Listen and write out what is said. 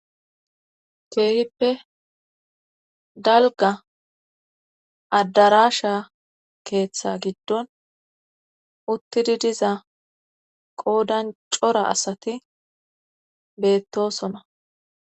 keehippe dalga addarasha keeththa giddon uttidi diza qoodan cora asati beettosona